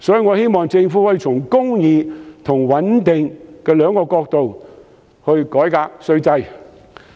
我希望政府可以從公義和穩定兩個角度改革稅制。